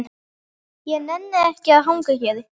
Ég nenni ekki að hanga hér.